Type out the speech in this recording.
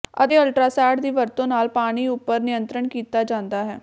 ਅਤੇ ਅਲਟਰਾਸਾਡ ਦੀ ਵਰਤੋਂ ਨਾਲ ਪਾਣੀ ਉੱਪਰ ਨਿਯੰਤਰਣ ਕੀਤਾ ਜਾਂਦਾ ਹੈ